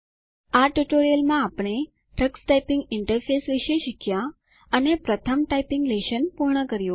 આ ટ્યુટોરીયલ માં આપણે ટક્સ ટાઈપીંગ ઇન્ટરફેસ વિશે શીખ્યા અને પ્રથમ ટાઈપીંગ લેશન પૂર્ણ કર્યું